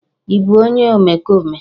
Ị bụ onye omekome?